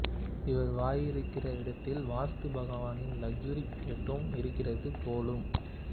இவர் வாயிருக்கிற இடத்தில் வாஸ்து பகவானின் லெக்சுரி பிளாட்டும் இருக்கிறது போலும்